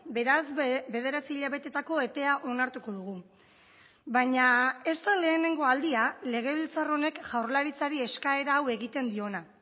beraz bederatzi hilabeteetako epea onartuko dugu baina ez da lehenengo aldia legebiltzar honek jaurlaritzari eskaera hau egiten diona